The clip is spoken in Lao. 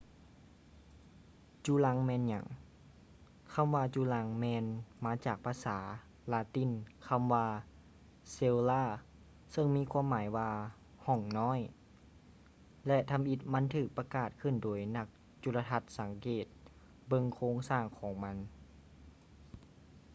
ຈຸລັງແມ່ນຫຍັງ ຄຳວ່າຈຸລັງແມ່ນມາຈາກພາສາລາຕິນຄໍາວ່າ cella ເຊິ່ງມີຄວາມໝາຍວ່າ ຫ້ອງນ້ອຍ ແລະ ທຳອິດມັນຖືກປະກາດຂຶ້ນໂດຍນັກຈຸລະທັດສັງເກດເບິ່ງໂຄງສ້າງຂອງມັນ